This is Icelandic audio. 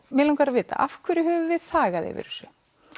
mig langar að vita af hverju höfum við þagað yfir þessu